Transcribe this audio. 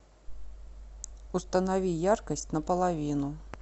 установи яркость на половину